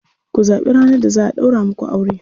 Ku zaɓi ranar da za a ɗaura muku aure.